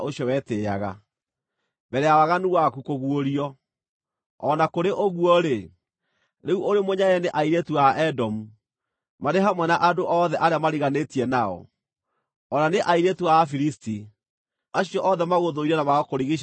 mbere ya waganu waku kũguũrio. O na kũrĩ ũguo-rĩ, rĩu ũrĩ mũnyarare nĩ airĩtu a Edomu, marĩ hamwe na andũ othe arĩa mariganĩtie nao, o na nĩ airĩtu a Afilisti, acio othe magũthũire na magakũrigiicĩria na mĩena yothe.